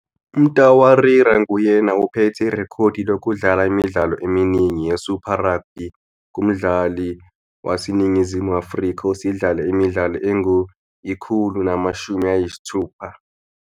UMtawarira nguyena ophethe irekhodi lokudlala imidlalo eminingi yeSuper Rugby kumdlali waseNingizimu Afrika osedlale imidlalo engu-160.